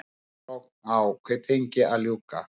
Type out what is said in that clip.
Rannsókn á Kaupþingi að ljúka